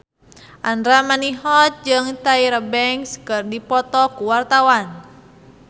Andra Manihot jeung Tyra Banks keur dipoto ku wartawan